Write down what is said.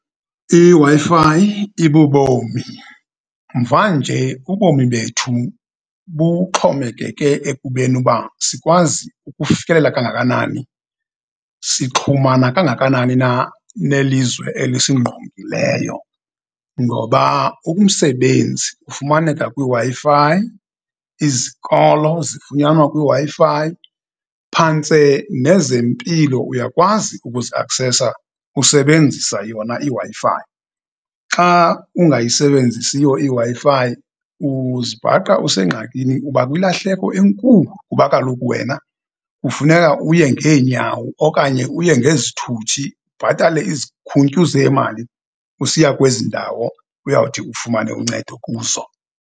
IWi-Fi ibubomi, mvanje, ubomi bethu buxhomekeke ekubeni uba sikwazi ukufikelela kangakanani, sixhumana kangakanani na nelizwe elisingqongileyo, ngoba umsebenzi ufumaneka kwiWi-Fi, izikolo zifunyanwe kwiWi-Fi, phantse nezempilo uyakwazi ukuziaksesa usebenzisa yona iWi-Fi. Xa ungayisebenzisiyo iWi-Fi, uzibhaqa usengxakini, uba kwilahleko enkulu, kuba kaloku wena kufuneka uye ngeenyawo okanye uye ngezithuthi, ubhatale izikhuntyu zemali, usiya kwezi ndawo, uyawuthi ufumane uncedo kuzo.